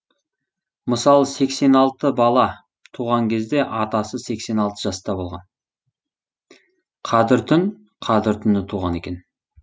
мысалы сексеналты бала туған кезде атасы сексен алты жаста болған қадіртүн қадір түні туған екен